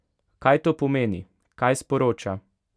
Kaj to pomeni, kaj sporoča?